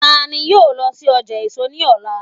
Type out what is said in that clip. ta ni yíò lọ sí ọjà èso níọ̀lá